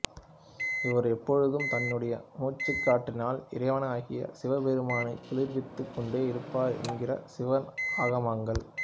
இவர் எப்பொழுதும் தன்னுடைய மூச்சுக்காற்றினால் இறைவனாகிய சிவபெருமானை குளிர்வித்துக் கொண்டே இருப்பவர் என்கிறன சிவ ஆகமங்கள்